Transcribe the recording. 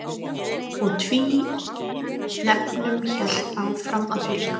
Og tvínefnum hélt áfram að fjölga.